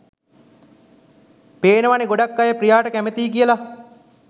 පේනවනෙ ගොඩක් අය ප්‍රියාට කැමති කියල.